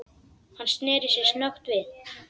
Hann sneri sér snöggt við.